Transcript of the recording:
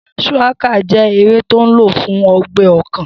Shùwákà jẹ́ ewé tó n lò fún ọgbẹ́ ọkàn